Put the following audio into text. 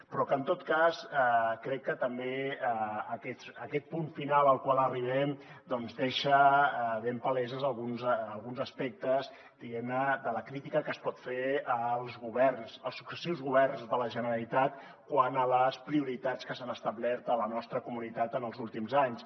però en tot cas crec que també aquest punt final al qual arribem deixa ben palesos alguns aspectes diguem ne de la crítica que es pot fer als governs als successius governs de la generalitat quant a les prioritats que s’han establert a la nostra comunitat en els últims anys